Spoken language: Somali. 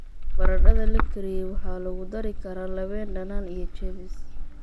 Baradhada la kariyey waxaa lagu dari karaa labeen dhanaan iyo chives.